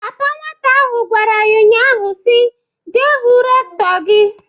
Papa nwata ahụ gwara ya nnya ahụ si, "Jee hụ Rektọ gị!"